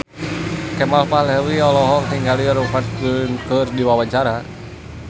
Kemal Palevi olohok ningali Rupert Grin keur diwawancara